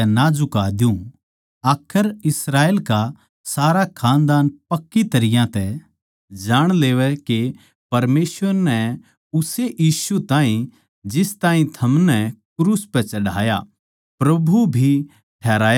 आखर इस्राएल का सारा खानदान पक्की तरियां तै जाण लेवै के परमेसवर नै उस्से यीशु ताहीं जिस ताहीं थमनै क्रूस पै चढ़ाया प्रभु भी ठहराया अर मसीह भी